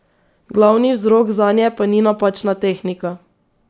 Glavni vzrok zanje pa ni napačna tehnika.